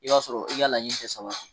I b'a sɔrɔ i ka laɲini tɛ sabati.